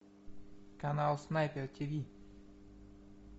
канал снайпер тиви